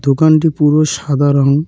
দোকানটি পুরো সাদা রঙ।